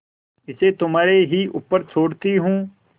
इसे तुम्हारे ही ऊपर छोड़ती हूँ